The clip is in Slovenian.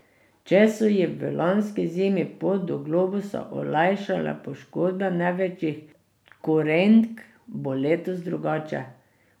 Če so ji v lanski zimi pot do globusa olajšale poškodbe največjih konkurentk, bo letos drugače.